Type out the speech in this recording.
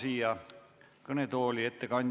Aitäh, lugupeetud peaminister!